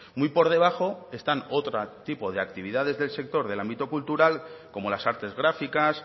muy por debajo están otro tipo de actividades del sector del ámbito cultural como las artes gráficas